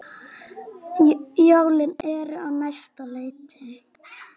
Jólin eru á næsta leiti.